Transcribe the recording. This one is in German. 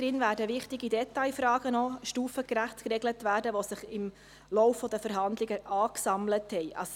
Darin werden noch wichtige Detailfragen stufengerecht geregelt werden, welche sich im Laufe der Verhandlungen angesammelt haben.